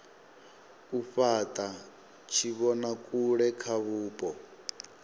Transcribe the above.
u fhata tshivhonakule kha vhupo